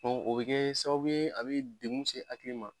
o bɛ kɛ sababu ye a bɛ degun se hakili ma.